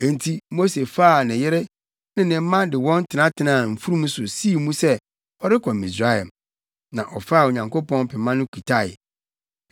Enti Mose faa ne yere ne ne mma de wɔn tenatenaa mfurum so sii mu sɛ ɔrekɔ Misraim. Na ɔfaa Onyankopɔn pema no kitae.